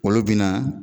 Olu bɛna